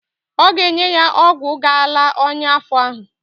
Ọ ga-enye ya ọgwụ ga-ala ọnya afọ ahụ.